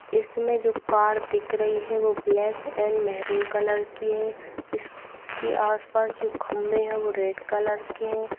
इसमें जो कार दिख रही है वो ब्लैक एंड मेहरून कलर की है। इसके आसपास जो खम्भे हैं वो रेड कलर के हैं।